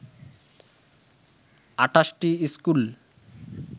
২৮টি school